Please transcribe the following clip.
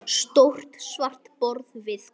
Stórt svart borð við glugga.